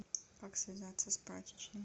как связаться с прачечной